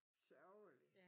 Sørgelig